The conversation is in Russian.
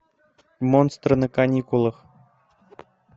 монстры на каникулах